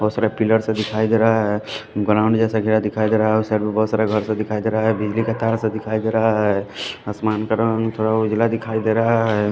बहुत सारा पिलर दिखाई दे रहा हैं ग्राउंड जैसा घेरा दिखाई दे रहा है और साइड पे बहुत सारा घर दिखाई दे रहा हैं बिजली का तार दिखाई दे रहा हैं आसमान का रंग थोड़ा उजला दिखाई दे रहा है।